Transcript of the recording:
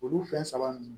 Olu fɛn saba ninnu